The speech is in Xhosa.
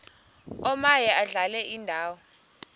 omaye adlale indawo